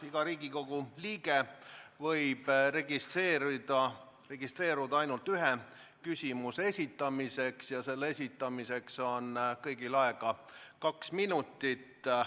Iga Riigikogu liige võib registreeruda ainult ühe küsimuse esitamiseks ja selle esitamiseks on kõigil aega kaks minutit.